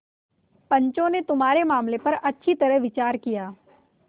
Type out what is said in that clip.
पंचों ने तुम्हारे मामले पर अच्छी तरह विचार किया